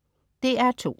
DR2: